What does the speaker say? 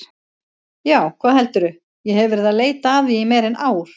Já, hvað heldurðu, ég hef verið að leita að því í meira en ár.